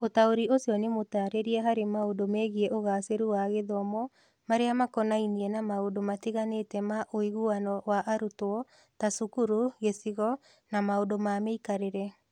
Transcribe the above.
Ũtaũri ũcio nĩ mũtaarĩrie harĩ maũndũ megiĩ ũgaacĩru wa gĩthomo marĩa makonainie na maũndũ matiganĩte ma ũiguano wa arutwo, ta cukuru, gĩcigo, na maũndũ ma mĩikarĩre.